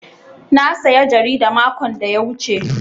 Na saya jarida makon da ya wuce.